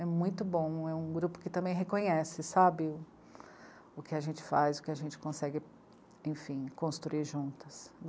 É muito bom, é um grupo que também reconhece, sabe, o... o que a gente faz, o que a gente consegue, enfim, construir juntas.